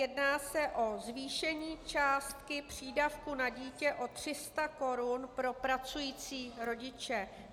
Jedná se o zvýšení částky přídavku na dítě o 300 korun pro pracující rodiče.